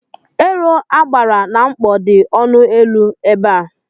Ero agbara na mkpọ dị ọnụ élú ebe a.